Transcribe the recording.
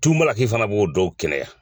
Tumu laki fana b'o dɔw kɛnɛya